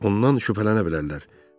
Ondan zərərlənə bilərlər.